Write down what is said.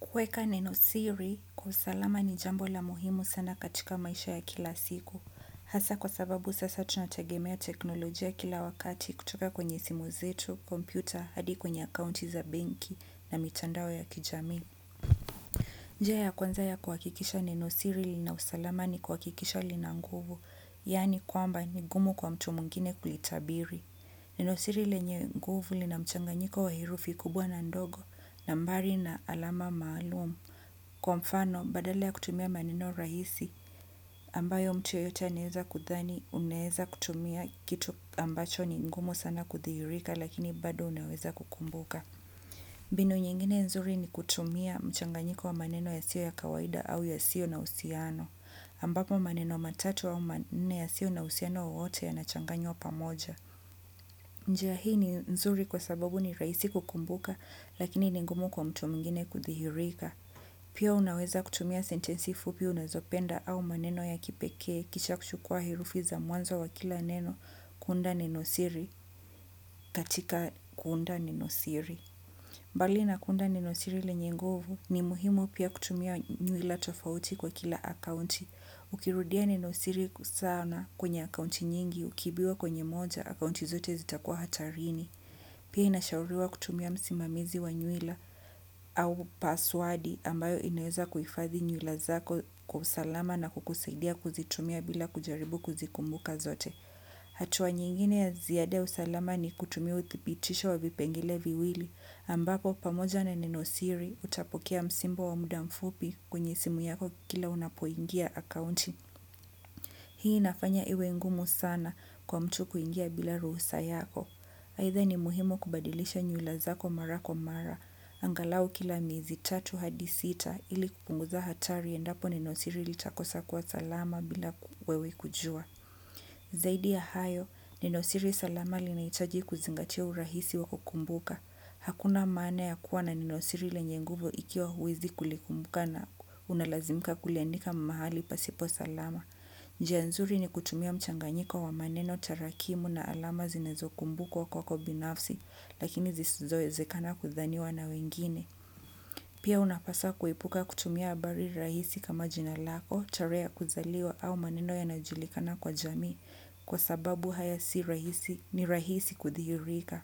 Kuweka nenosiri, kwa usalama ni jambo la muhimu sana katika maisha ya kila siku. Hasa kwa sababu sasa tunatagemea teknolojia kila wakati kutoka kwenye simu zetu, kompyuta, hadi kwenye akaunti za benki na mitandao ya kijamii. Njia ya kwanza ya kuhakikisha nenosiri lina usalama ni kuhakikisha lina nguvu, yaani kwamba ni gumu kwa mtu mwngine kuitabiri. Nenosiri lenye nguvu lina mchanganyiko wa herufi kubwa na ndogo nambari na alama maalum kwa mfano badala ya kutumia maneno rahisi ambayo mtu yeyote anaweza kudhani unaweza kutumia kitu ambacho ni ngumu sana kudhihirika lakini bado unaweza kukumbuka. Mbinu nyingine nzuri ni kutumia mchanganyiko wa maneno ya sio ya kawaida au ya sio na husiano ambapo maneno matatu au manne yasio na husiano wowote yanachanganywa pamoja. Njia hii ni nzuri kwa sababu ni rahisi kukumbuka lakini ni ngumu kwa mtu mwingine kudhihirika. Pia unaweza kutumia sentensi fupi unazopenda au maneno ya kipekee kisha kuchukua herufi za mwanzo wa kila neno kuunda nenosiri katika kuunda nenosiri. Bali na kuunda nenosiri lenye nguvu ni muhimu pia kutumia nywila tofauti kwa kila akaunti. Ukirudia nenosiri sana kwenye akaunti nyingi ukiibiwa kwenye moja akaunti zote zita kuwa hatarini. Pia inashauriwa kutumia msimamizi wa nywila au paswadi ambayo inaweza kuhifadhi nywila zako kwa usalama na kukusaidia kuzitumia bila kujaribu kuzikumbuka zote. Hatuwa nyingine ya ziyade usalama ni kutumia utipitisho wa vipengele viwili ambapo pamoja na neno siri utapokea msimbo wa muda mfupi kwenye simu yako kila unapoingia accounting. Hii nafanya iwe ngumu sana kwa mtu kuingia bila rusa yako. Aidha ni muhimu kubadilisha nywila zako mara kwa mara. Angalau kila miezi tatu hadi sita ili kupunguza hatari endapo nenosiri litakosa kuwa salama bila wewe kujua. Zaidi ya hayo nenosiri linahitaji kuzingatia urahisi wa kukumbuka. Hakuna maana ya kuwa na nenosiri lenye nguvu ikiwa huwezi kulikumbuka na unalazimka kuliandika mahali pasipo salama. Njia nzuri ni kutumia mchanganyiko wa maneno tarakimu na alama zinazo kumbukwa kwako binafsi lakini zisizo wezekana kudhaniwa na wengine. Pia unapasa kuepuka kutumia habari rahisi kama jina lako, tarehe ya kuzaliwa au maneno yanayo julikana kwa jamii kwa sababu haya si rahisi ni rahisi kudhihirika.